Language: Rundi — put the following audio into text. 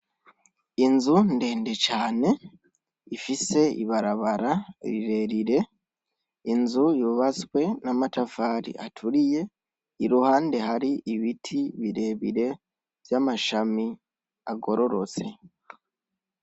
Inzu ndende cane, ifise ibarabara rirerire, inzu yubatswe n'amatafari aturiye, iruhande hari ibiti birebire vy'amashami agororotse.